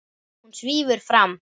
Hún svífur fram.